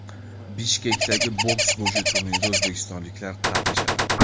Bishkekdagi boks bo‘yicha turnirda o‘zbekistonliklar qatnashadi.